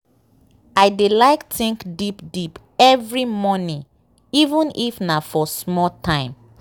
i dey like think deep deep every morning even if nah for small time.